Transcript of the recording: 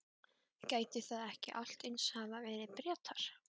Gætu það ekki allt eins hafa verið Bretar?